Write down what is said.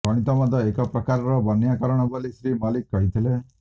ଗଣିତ ମଧ୍ୟ ଏକ ପ୍ରକାରର ବ୍ୟାକରଣ ବୋଲି ଶ୍ରୀ ମଲ୍ଲିକ କହିଥିଲେ